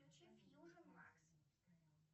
включи фьюжн макс